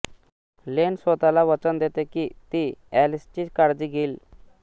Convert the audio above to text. लेन स्वतःला वचन देते की ती एलिसची काळजी घेईल